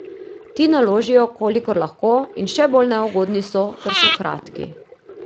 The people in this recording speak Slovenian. Ti naložijo, kolikor lahko, in še bolj neugodni so, ker so kratki.